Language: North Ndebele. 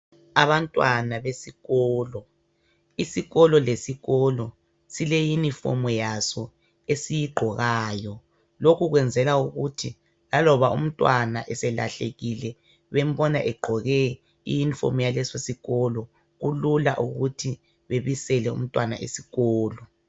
Abantwana besikolo. Isikolo lesikolo sileyunifomu yaso esiyigqokayo. Lokhu kwenzelwa ukuthi laloba umntwana eselahlekile bembona egqoke iyunifomu yalesosikolo kulula ukuthi bebisele umntwana esikolo.